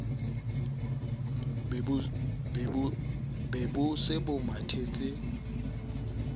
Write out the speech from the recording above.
be bo se bo mathetse